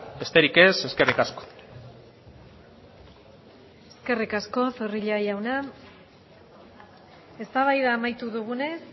besterik ez eskerrik asko eskerrik asko zorrilla jauna eztabaida amaitu dugunez